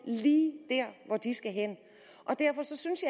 lige dér hvor de skal hen derfor synes